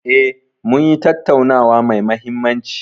E, munyi tattaunawa mai mahimmanci.